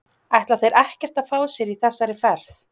Ætla þeir ekkert að fá sér í þessari ferð??